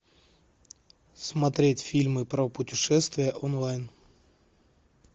смотреть фильмы про путешествия онлайн